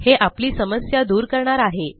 हे आपली समस्या दूर करणार आहे